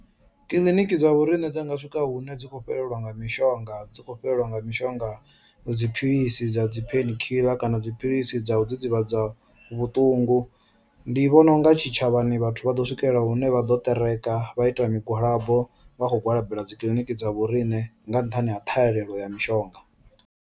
Kiḽiniki dza vho riṋe dza nga swika hune dzi khou fhelelwa nga mishonga dzi khou fhelelwa nga mishonga dziphilisi dza dzi pain killer kana dziphilisi dza u dzidzivhadza vhuṱungu, ndi vhona unga tshitshavhani vhathu vha ḓo swikelela hune vha ḓo ṱereka vha ita migwalabo vha kho gwalabela dzi kiḽiniki dza vho riṋe nga nṱhani ha ṱhahelelo ya mishonga.